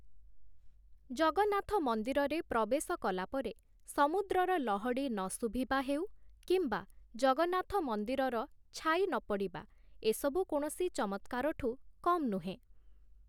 ଜଗନ୍ନାଥ ମନ୍ଦିରରେ ପ୍ରବେଶ କଲା ପରେ ସମୁଦ୍ରର ଲହଡ଼ି ନଶୁଭିବା ହେଉ କିମ୍ବା ଜଗନ୍ନାଥ ମନ୍ଦିରର ଛାଇ ନପଡ଼ିବା ଏସବୁ କୌଣସି ଚମତ୍କାରଠୁ କମ୍‌ ନୁହେଁ